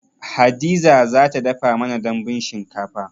Hadiza za ta dafa mana dambun shinkafa